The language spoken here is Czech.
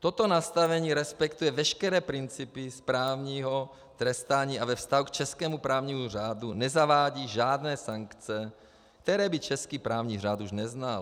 Toto nastavení respektuje veškeré principy správního trestání a ve vztahu k českému právnímu řádu nezavádí žádné sankce, které by český právní řád už neznal.